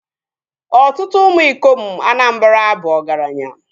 Ọtụtụ ụmụ ikom Anamabra bu ọgaranya